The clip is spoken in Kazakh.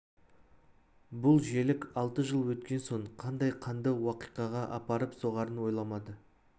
бұл желік алты жыл өткен соң қандай қанды уақиғаға апарып соғарын ойламады